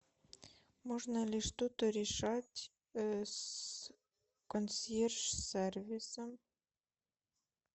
можно ли что то решать с консьерж сервисом